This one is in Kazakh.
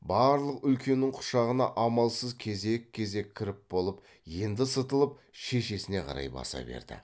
барлық үлкеннің құшағына амалсыз кезек кезек кіріп болып енді сытылып шешесіне қарай баса берді